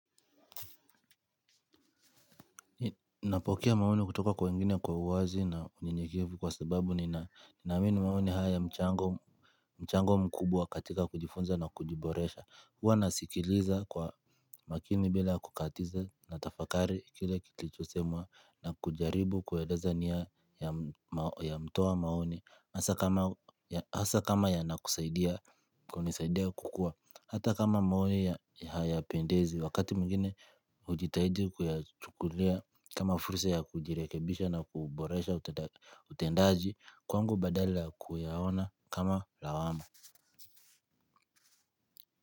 Napokea maoni kutoka kwa wengine kwa uwazi na unyenyekevu kwa sababu ni na ninaamini maoni haya mchango mchango mkubwa katika kujifunza na kujiboresha huwa nasikiliza kwa makini bila kukatiza na tafakari kile kilichosemwa na kujaribu kueleza nia ya ya mtoa maoni hasa kama hasa kama yanakusaidia, kunisaidia kukua hata kama maoni yapendezi, wakati mwingine hujitahidi kuyachukulia kama fursa yakujirebisha na kuboresha utendaji kwangu badala ya kuyaona kama lawama.